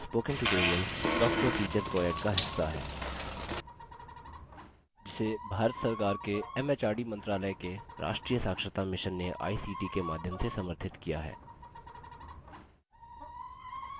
spoken tutorial talktoa teacher project का हिस्सा है जिसे भारत सरकार के एमएचआरडी मंत्रालय के राष्ट्रीय साक्षरता mission ने a सी टी ict के माध्यम से समर्थित किया है